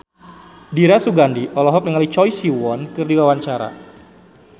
Dira Sugandi olohok ningali Choi Siwon keur diwawancara